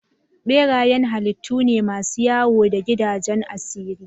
Berayen halittu ne masu wayo da gidajen asiri.